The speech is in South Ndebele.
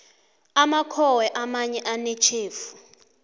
amakhowe amanye anetjhefu